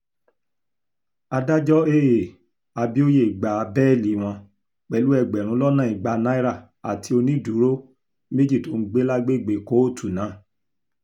adájọ́ aa abioye gba bẹ́ẹ́lí wọn pẹ̀lú ẹgbẹ̀rún lọ́nà ìgbà náírà àti onídùúró méjì tó ń gbé lágbègbè kóòtù náà